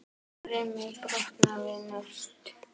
Brimið brotnar við naust.